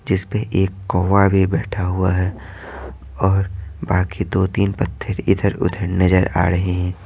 जिस पे एक कौवा भी बैठा हुआ हैऔर बाकी दो-तीन पत्थर इधर-उधर नजर आ रहे हैं।